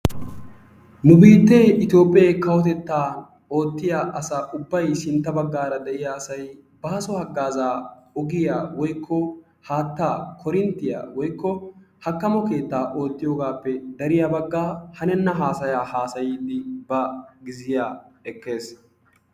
nu biitee itoophe kawotetta ootiya asa ubbay sintta bagaara de'iya asay baaso hagaazaa ogiya woykko haataa korinttiya woykko hakanmmo keetta oychiyogaappe dariya bagaa hanenna haasayaa haasayiidi ba gizziya ekkes.